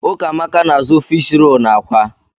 Ụkamaka na_azụ fiish roolu na àkwá.